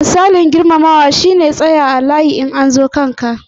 Misalin girmamawa shi ne jira a zo kan ka a cikin layi.